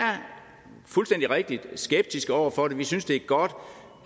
fuldstændig rigtigt er skeptiske over for det vi synes det er godt